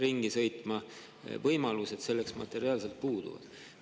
Aga materiaalsed võimalused selleks puuduvad.